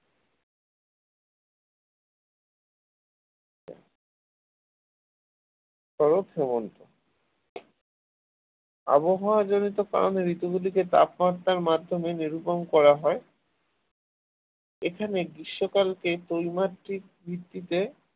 ও হেমন্ত আবহাওয়া জনিত কারণে ঋতু গুলিকে তাপমাত্রার মাধ্যমে নিরূপণ করা হয় এখানে গ্রীষ্মকালকে তৈমাতৃক ভিত্তিতে